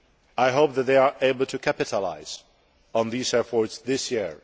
I hope that they are able to capitalise on these efforts this year.